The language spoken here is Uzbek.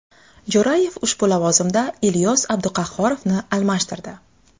Jo‘rayev ushbu lavozimda Ilyos Abduqahhorovni almashtirdi.